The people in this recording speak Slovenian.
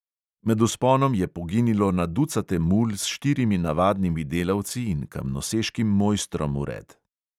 Med vzponom je poginilo na ducate mul s štirimi navadnimi delavci in kamnoseškim mojstrom vred.